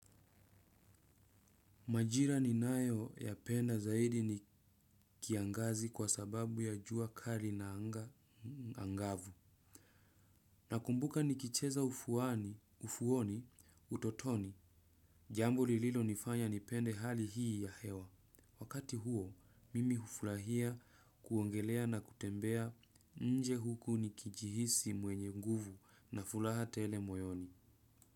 Majira ninayoyapenda zaidi ni kiangazi kwa sababu ya jua kali na anga angavu. Nakumbuka nikicheza ufuoni utotoni. Jambo lililonifanya nipende hali hii ya hewa. Wakati huo, mimi ufurahia kuogelea na kutembea nje huku nikijihisi mwenye nguvu na furaha tele moyoni.